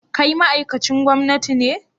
Kai ma'aikacin gwamnati ne?